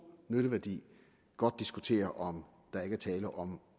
nytteværdi godt diskutere om der ikke er tale om